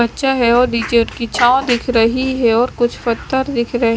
बच्चा है और रिजेंट की छांव दिख रही है और कुछ पत्थर दिख रहे--